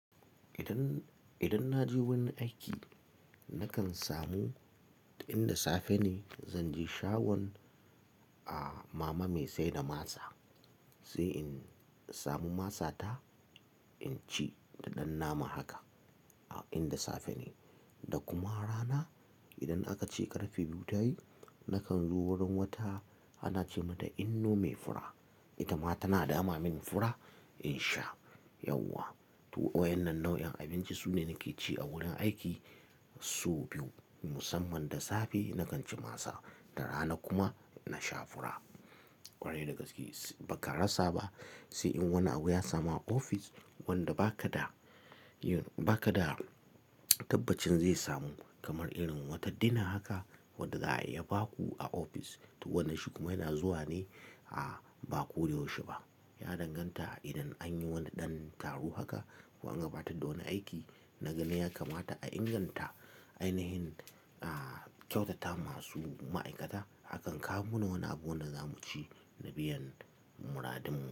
Idan, idan na je wurin aiki nakan samu inda safe ne zan je shagon ah mama mai saida masa sai in samu masa ta inci da ɗan nama haka a inda safe ne. Da kuma rana idan aka ce ƙarfe biyu ta yi nakan zo wurin wata ana ce mata inno me fura, ita ma tana dama min fura in sha. Yauwa, to wayannan nau'in abinci su ne nake ci a wurin aiki. Sau biyu musamman da safe nakan ci masa, da rana kuma na sha fura. Kwarai da gaske ba ka rasa ba sai in wani abu ya samu a ofis wanda ba ka da yin, ba ka da tabbacin zai samu. Kamar irin wata dina haka wadda za a iya baku a ofis. To wannan shikuma yana zuwa ne a ba ko da yaushe ba. Ya danganta idan an yi wani ɗan taro haka ko an gabatar da wani aiki. Na gani ya kamata a inganta ainihin ah kyautata masu ma'aikata akan kawo mana wani abu wanda zamu ci na biyan muradinmu.